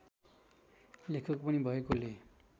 लेखक पनि भएकोले